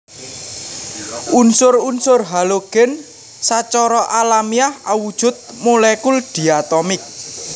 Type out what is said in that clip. Unsur unsur halogen sacara alamiah awujud molekul diatomik